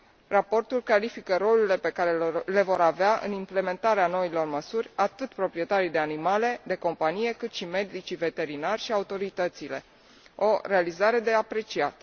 Raportul clarifică rolurile pe care le vor avea în implementarea noilor măsuri, atât proprietarii de animale de companie, cât și medicii veterinari și autoritățile, o realizare de apreciat.